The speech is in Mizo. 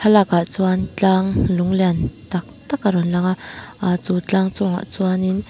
lakah chuan tlâng lung lian tâk tâk a rawn langa a chu tlâng chungah chuanin.